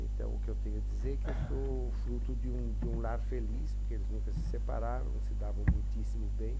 Então, o que eu tenho a dizer é que eu sou fruto de um de um lar feliz, porque eles nunca se separaram, se davam muitíssimo bem.